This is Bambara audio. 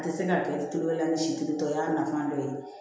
A tɛ se ka kɛ telela ni sitigi tɔ y'a nafan dɔ ye